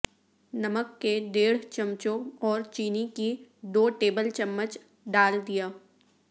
نمک کے ڈیڑھ چمچوں اور چینی کی دو ٹیبل چمچ ڈال دیا